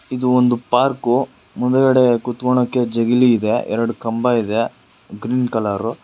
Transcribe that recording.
ಇದು ಒಂದು ಪಾರ್ಕು ಮುಂದ್ಗಡೆ ಕುತ್ಕೊಣಕ್ಕೆ ಜಗಲಿ ಇದೆ ಎರಡು ಕಂಬ ಇದೆ ಗ್ರೀನ್ ಕಲರ್ .